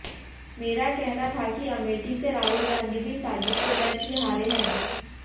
मेरा कहना था कि अमेठी से राहुल गांधी भी साजिश के तहत ही हारे हैं